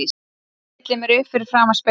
Stilli mér upp fyrir framan spegilinn.